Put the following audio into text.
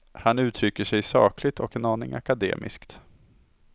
Han uttrycker sig sakligt och en aning akademiskt.